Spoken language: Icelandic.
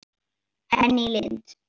Henný Lind.